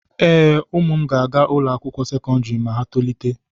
Ee, ụmụ m ga-aga ụlọ akwụkwọ sekọndrị ma ha tolite.